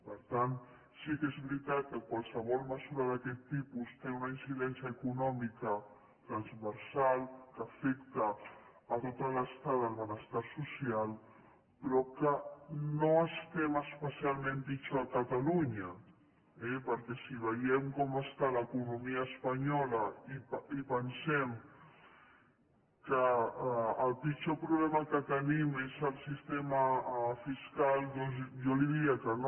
per tant sí que és veritat que qualsevol mesura d’aquest tipus té una incidència econòmica transversal que afecta tot l’estat del benestar social però no estem especialment pitjor a catalunya eh perquè si veiem com està l’economia espanyola i pensem que el pitjor problema que tenim és el sistema fiscal doncs jo li diria que no